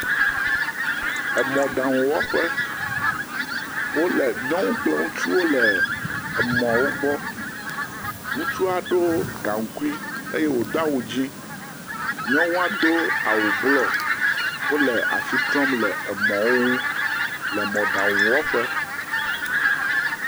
Emɔɖaŋuwɔƒe. Wole, nyɔnu kple ŋutsuwo le emɔwo gbɔ. Ŋutsua ɖo gaŋkui eye wòdo awu dzẽ. Nyɔnua do awu blɔ. Wole ashi trɔm le emɔwo ŋu le mɔɖaŋuwɔƒe.